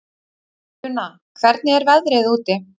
Una, hvernig er veðrið úti?